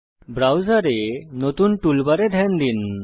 ব্রাউজারে নতুন টুলবারে ধ্যান দিন